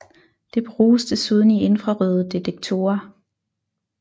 Det bruges desuden i infrarøde detektorer